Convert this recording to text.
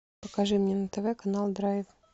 покажи мне на тв канал драйв